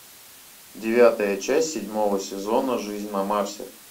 девятая часть седьмого сезона жизнь на марсе